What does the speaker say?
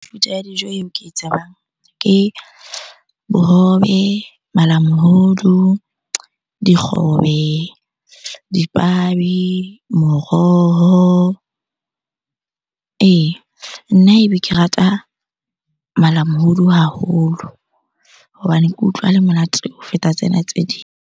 Mefuta ya dijo eo ke e tsebang ke bohobe, malamohodu, dikgobe, dipabi, moroho, ee. Nna ebe ke rata malamohodu haholo hobane ke utlwa o le monate ho feta tsena tse ding.